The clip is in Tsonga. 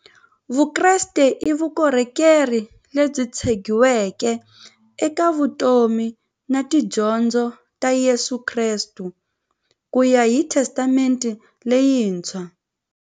Vukreste i vukhongeri lebyi tshegiweke eka vutomi na tidyondzo ta Yesu Kreste kuya hi Testamente leyintshwa.